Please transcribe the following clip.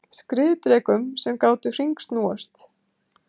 Skriðdrekum sem gátu hringsnúist.